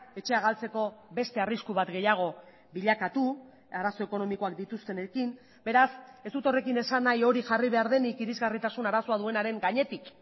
etxea galtzeko beste arrisku bat gehiago bilakatu arazo ekonomikoak dituztenekin beraz ez dut horrekin esan nahi hori jarri behar denik irisgarritasun arazoa duenaren gainetik